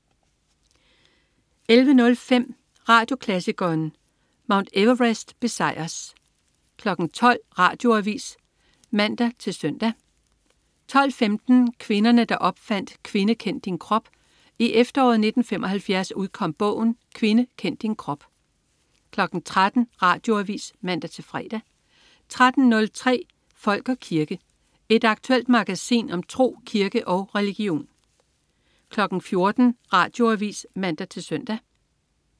11.05 Radioklassikeren. Mount Everests besejrer 12.00 Radioavis (man-søn) 12.15 Kvinderne der opfandt Kvinde Kend Din Krop. I efteråret 1975 udkom bogen "Kvinde Kend Din Krop" 13.00 Radioavis (man-fre) 13.03 Folk og kirke. Et aktuelt magasin om tro, kirke og religion 14.00 Radioavis (man-søn)